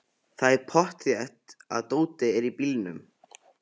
Það er pottþétt að dótið er í bílnum!